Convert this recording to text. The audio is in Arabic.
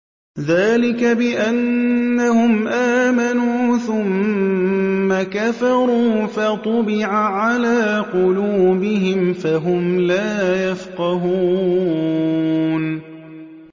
ذَٰلِكَ بِأَنَّهُمْ آمَنُوا ثُمَّ كَفَرُوا فَطُبِعَ عَلَىٰ قُلُوبِهِمْ فَهُمْ لَا يَفْقَهُونَ